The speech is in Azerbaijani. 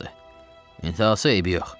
İntahası eybi yox.